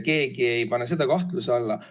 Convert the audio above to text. Keegi ei pane seda kahtluse alla.